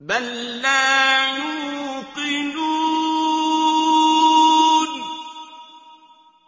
بَل لَّا يُوقِنُونَ